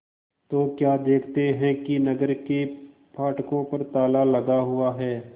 तो क्या देखते हैं कि नगर के फाटकों पर ताला लगा हुआ है